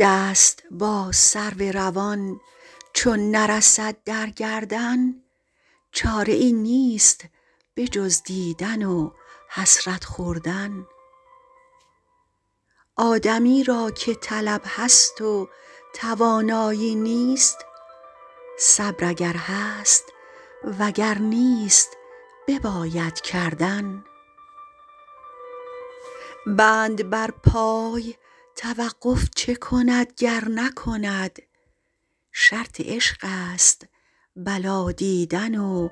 دست با سرو روان چون نرسد در گردن چاره ای نیست به جز دیدن و حسرت خوردن آدمی را که طلب هست و توانایی نیست صبر اگر هست و گر نیست بباید کردن بند بر پای توقف چه کند گر نکند شرط عشق است بلا دیدن و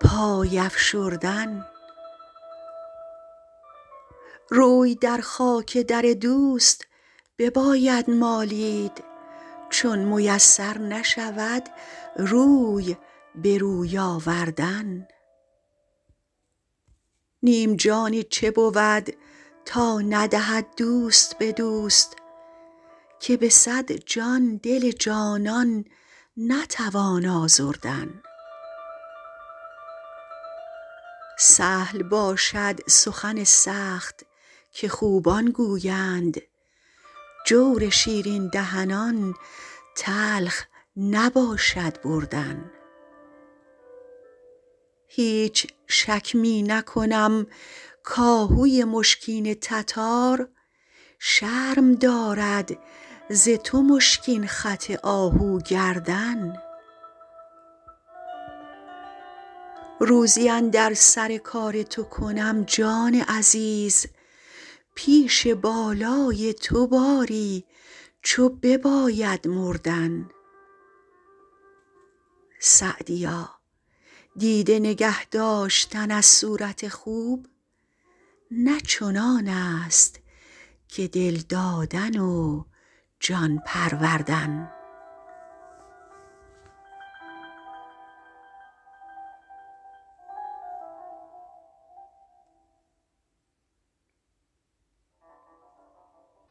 پای افشردن روی در خاک در دوست بباید مالید چون میسر نشود روی به روی آوردن نیم جانی چه بود تا ندهد دوست به دوست که به صد جان دل جانان نتوان آزردن سهل باشد سخن سخت که خوبان گویند جور شیرین دهنان تلخ نباشد بردن هیچ شک می نکنم کآهوی مشکین تتار شرم دارد ز تو مشکین خط آهو گردن روزی اندر سر کار تو کنم جان عزیز پیش بالای تو باری چو بباید مردن سعدیا دیده نگه داشتن از صورت خوب نه چنان است که دل دادن و جان پروردن